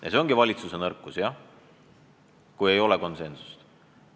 Ja see ongi valitsuse nõrkus, kui ei ole konsensust.